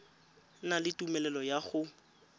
na le tumelelo ya go